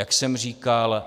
Jak jsem říkal,